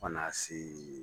Kana se.